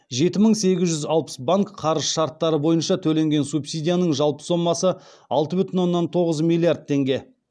жеті мың сегіз жүз алпыс банк қарыз шарттары бойынша төленген субсидияның жалпы сомасы алты бүтін оннан тоғыз миллиард теңге